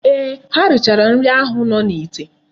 Eeh, ha erichaala nri ahu no n'ite.